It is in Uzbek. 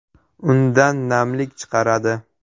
Undan namlik chiqaradi.